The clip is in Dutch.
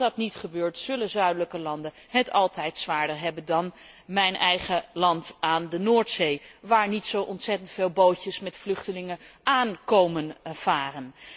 Als dat niet gebeurt, zullen zuidelijke landen het altijd zwaarder hebben dan mijn eigen land aan de Noordzee, waar niet zo ontzettend veel bootjes met vluchtelingen komen aanvaren.